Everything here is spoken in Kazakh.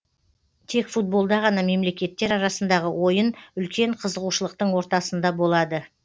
тек футболда ғана мемлекеттер арасындағы ойын үлкен қызығушылықтың ортасында болады